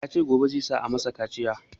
Ya ce gobe za a masa kaciya